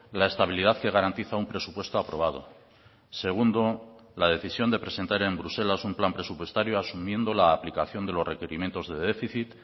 la estabilidad que garantiza un presupuesto aprobado segundo la decisión de presentar en bruselas un plan presupuestario asumiendo la aplicación de los requerimientos de déficit